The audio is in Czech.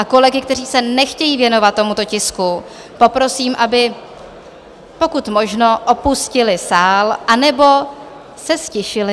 A kolegy, kteří se nechtějí věnovat tomuto tisku, poprosím, aby pokud možno opustili sál anebo se ztišili.